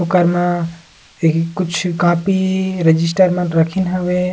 उकर म ये कुछ कॉपी रजिस्टर मन रखीन हवे।